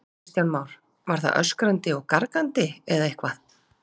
Kristján Már: Var það öskrandi og gargandi eða eitthvað?